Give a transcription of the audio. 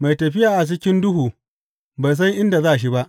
Mai tafiya a cikin duhu bai san inda za shi ba.